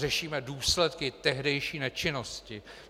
Řešíme důsledky tehdejší nečinnosti.